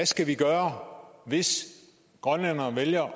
skal gøre hvis grønlænderne vælger at